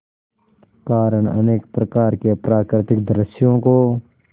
कारण अनेक प्रकार के प्राकृतिक दृश्यों को